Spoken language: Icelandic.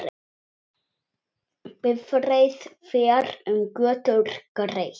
Sem enginn tekur eftir.